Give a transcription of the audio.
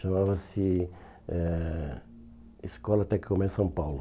Chamava-se eh Escola Tec comer São Paulo.